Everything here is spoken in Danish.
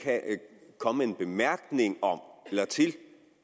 komme med en bemærkning om eller til